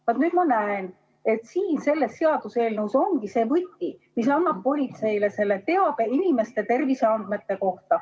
Vaat nüüd ma näen, et siin selles seaduseelnõus ongi see võti, mis annab politseile teada inimeste terviseandmeid.